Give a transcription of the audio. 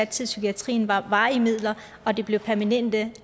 til psykiatrien var varige midler at de blev permanente